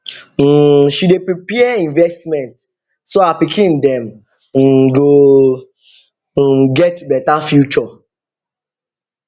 um she dey prepare investment so her pikin dem um go um get better future